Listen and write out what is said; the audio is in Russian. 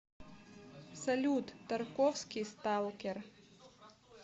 салют тарковский сталкер